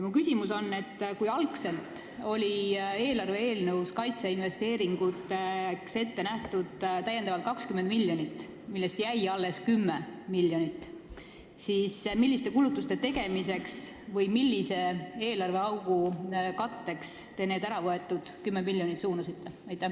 Minu küsimus on selline: kui algselt oli eelarve eelnõus kaitseinvesteeringuteks ette nähtud 20 lisamiljonit, millest jäi alles 10 miljonit, siis milliste kulutuste tegemiseks või millise eelarveaugu katteks te need äravõetud 10 miljonit suunasite?